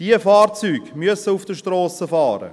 Diese Fahrzeuge müssen auf den Strassen fahren.